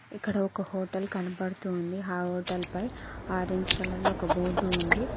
ఇక్కడ ఒక హోటల్ కనబడుతోంది ఆ హోటల్ పై ఆరెంజ్ కలర్ లో ఒక బోర్డు ఉంది.